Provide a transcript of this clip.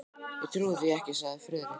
Ég trúi því ekki, sagði Friðrik.